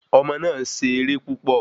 Ọmọ náà se eré púpọ̀